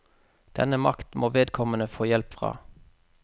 Denne makt må vedkommende få hjelp fra.